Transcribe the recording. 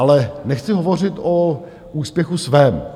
Ale nechci hovořit o úspěchu svém.